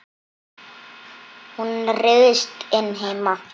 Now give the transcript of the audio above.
Hún ryðst inn heima.